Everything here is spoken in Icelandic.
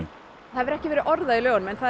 það hefur ekki verið orðað í lögunum en það